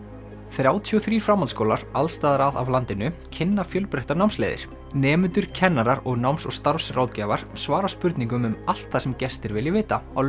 þrjátíu og þrír framhaldsskólar alls staðar að af landinu kynna fjölbreyttar námsleiðir nemendur kennarar og náms og starfsráðgjafar svara spurningum um allt það sem gestir vilja vita á